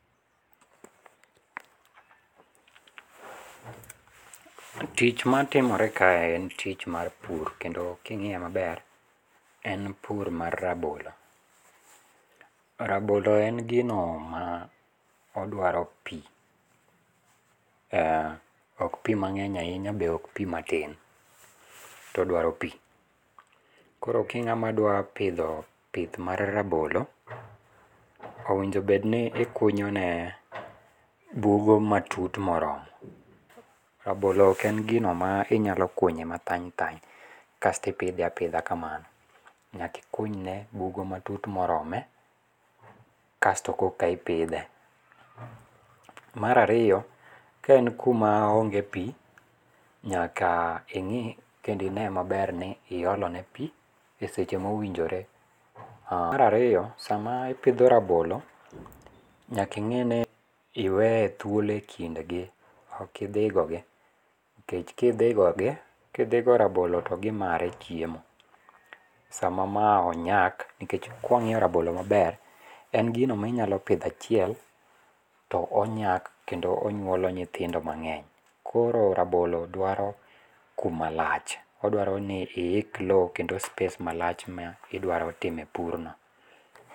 Tich matimore kae en tich mar pur kendo king'iye maber, en pur mar rabolo. Rabolo en gino ma odwaro pi . Ok pi mang'eny ahinya be ok pi matin. To odwaro pi. Koro king'ama dwa pidho pith mar rabolo, owinjo obed ni ikunyone bugo matut moromo. Rabolo ok en gino ma inyalo kunye mathany thany kasto ipidhe apidha kamano. Nyaka ikunyne bugo matut morome, kasto koka ipidhe. Mar ariyo ,ka en kuma onge pi, nyaka ing'i kendo ine maber ni iolone pi e seche mowinjore. Mar ariyo, sama ipidho rabolo, nyaka ing'i ni iwe thuolo e kindgi. Ok idhigogi. Nikech kidhigogi, kidhigo rabolo to gimare chiemo. Sama ma onyak, nikech kwang'iyo rabolo maber, en gino minyalo pidho achiel, to onyak kendo onyuolo nyithindo mang'eny. Koro rabolo dwaro kumalach. Odwaro ni iik lowo kendo space malach ma idwaro tie purno.